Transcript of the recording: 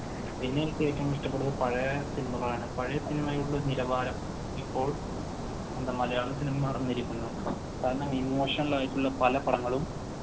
ഇനി എനിക്ക് ഏറ്റവും ഇഷ്ടപെട്ടത് പഴയ സിനിമകളാണ്. പഴയ സിനിമയുടെ നിലവാരം ഇപ്പോൾ എന്താ മലയാള സിനിമ കാരണം emotional ആയിട്ടുള്ള പല പടങ്ങളും